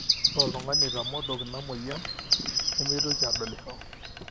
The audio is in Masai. ore oltung'ani oitamodok ina mweyian nemeitoki adolisho